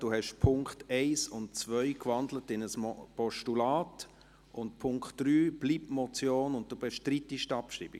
Die Punkte 1 und 2 wurden in ein Postulat gewandelt, und der Punkt 3 bleibt als Motion bestehen, und Sie bestreiten die Abschreibung?